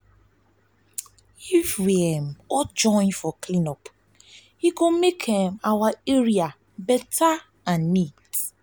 if we um all join for clean up e go make um our area better and neat.